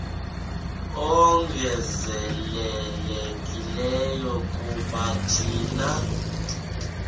ongezelelekileyo kuba thina